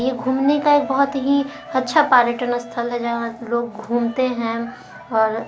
यह घुमने का एक बहुत ही अच्छा पार्यटन स्थल हैं जहा लोग घूमते है और--